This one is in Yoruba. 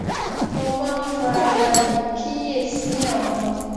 mo máa ń fara balè kíyè sí àwọn